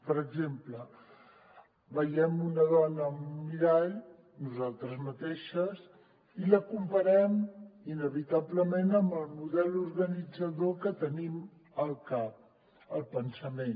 per exemple veiem una dona en un mirall nosaltres mateixes i la compa·rem inevitablement amb el model organitzador que tenim al cap al pensament